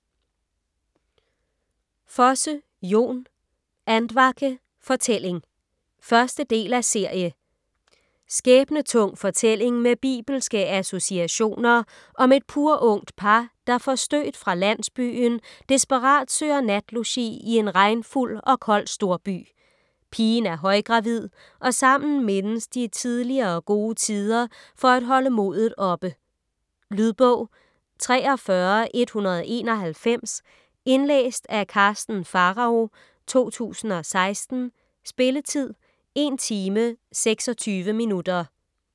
Fosse, Jon: Andvake: fortælling 1. del af serie. Skæbnetung fortælling med bibelske associationer om et purungt par, der forstødt fra landsbyen desperat søger natlogi i en regnfuld og kold storby. Pigen er højgravid, og sammen mindes de tidligere gode tider for at holde modet oppe. . Lydbog 43191 Indlæst af Karsten Pharao, 2016. Spilletid: 1 timer, 26 minutter.